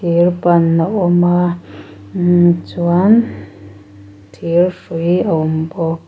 thir ban a awm a imm chuan thir hrui a awm bawk.